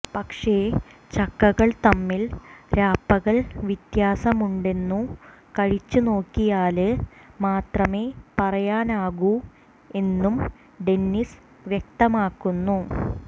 പക്ഷെ ചക്കകൾ തമ്മിൽ രാപ്പകൽ വത്യാസം ഉണ്ടെന്നു കഴിച്ചു നോക്കിയാല് മാത്രമേ പറയാനാകൂ എന്നും ഡെന്നിസ് വക്തമാക്കുന്നു